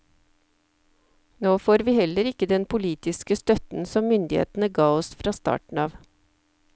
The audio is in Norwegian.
Nå får vi heller ikke den politiske støtten som myndighetene ga oss fra starten av.